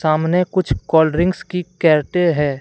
सामने कुछ cold drinks की कैरटे है।